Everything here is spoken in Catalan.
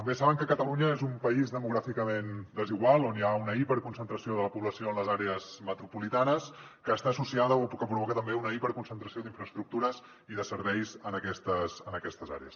bé saben que catalunya és un país demogràficament desigual on hi ha una hiperconcentració de la població en les àrees metropolitanes que està associada o que provoca també una hiperconcentració d’infraestructures i de serveis en aquestes àrees